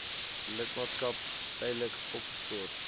lidmaatskap tydelik opgeskort